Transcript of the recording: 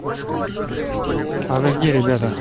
а вы где ребята